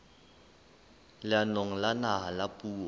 leanong la naha la puo